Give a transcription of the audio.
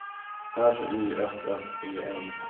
R Y S S E N